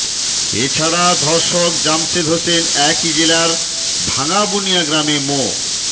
এছাড়া ধর্ষক জামশেদ হোসেন একই জেলার ভাঙাবুনিয়া গ্রামের মো